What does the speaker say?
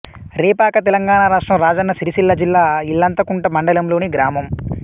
రేపాకతెలంగాణ రాష్ట్రం రాజన్న సిరిసిల్ల జిల్లా ఇల్లంతకుంట మండలంలోని గ్రామం